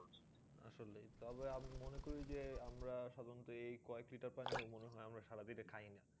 আসলে তবে আমি মনে করি যে আমরা সাধারণত এই কয়েক লিটার পানিও মনে হয় আমরা সারা দিনেও খাই না।